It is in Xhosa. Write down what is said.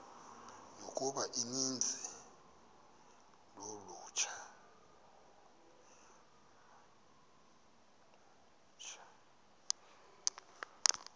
yokuba uninzi lolutsha